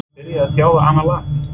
Er hann byrjaður að þjálfa annað land?